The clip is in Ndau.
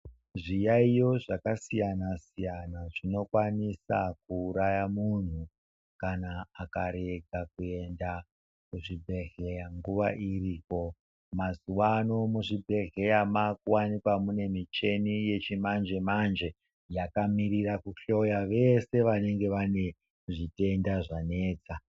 Zyiyayiyo zvakasiyana-siyana zvinokwanisa kuuraya muntu kana akarega kuenda kuchibhedhleya nguwa iripo mazuwa ano muzvibheshleya makuwanika munemichini yechimanje-manje yakamirira kuhloya veshe vanenge vane zvitenda zvanesa.